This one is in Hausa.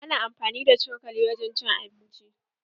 Ana amfani da cokali wurin cin abinci.